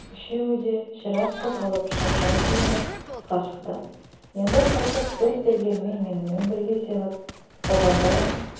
үшеуі де ширақ қозғалып шапшаң киініп тысқа шықты енді қайтып бір сермелмей менімен бірге семіп солғандарың